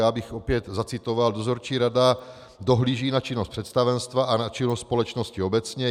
Já bych opět zacitoval: Dozorčí rada dohlíží na činnost představenstva a na činnost společnosti obecně.